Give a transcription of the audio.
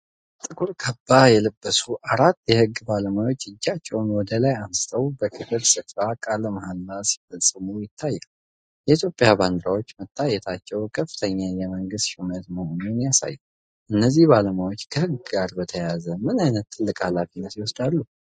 ጥቁር ካባ የለበሱ አራት የህግ ባለሙያዎች እጃቸውን ወደ ላይ አንስተው በክብር ስፍራ ቃለ መሃላ ሲፈጽሙ ይታያሉ። የኢትዮጵያ ባንዲራዎች መታየታቸው ከፍተኛ የመንግስት ሹመት መሆኑን ያሳያል። እነዚህ ባለሙያዎች ከህግ ጋር በተያያዘ ምን አይነት ትልቅ ኃላፊነት ይወስዳሉ? (